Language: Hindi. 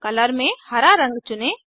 कलर में हरा रंग चुने